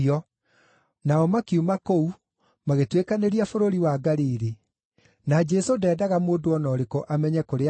Nao makiuma kũu magĩtuĩkanĩria bũrũri wa Galili, na Jesũ ndeendaga mũndũ o na ũrĩkũ amenye kũrĩa marĩ,